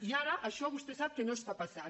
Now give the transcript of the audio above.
i ara això vostè sap que no està passant